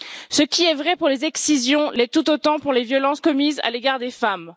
Ce qui est vrai pour les excisions l'est tout autant pour les violences commises à l'égard des femmes.